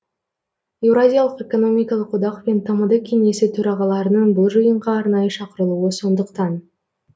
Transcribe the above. еуразиялық экономикалық одақ пен тмд кеңесі төрағаларының бұл жиынға арнайы шақырылуы сондықтан